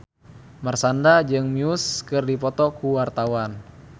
Marshanda jeung Muse keur dipoto ku wartawan